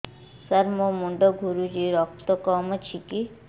ସାର ମୋର ମୁଣ୍ଡ ଘୁରୁଛି ରକ୍ତ କମ ଅଛି କି